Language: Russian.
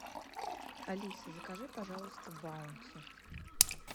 алиса закажи пожалуйста баунти